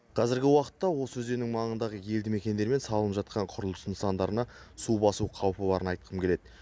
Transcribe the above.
қазіргі уақытта осы өзеннің маңындағы елді мекендер мен салынып жатқан құрылыс нысандарына су басу қаупі барын айтқым келеді